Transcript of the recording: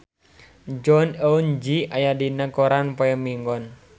Jong Eun Ji aya dina koran poe Minggon